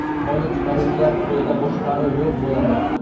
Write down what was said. Qonun chiqaruvchilar qo‘lida boshqaruv yo‘q bo‘ladi.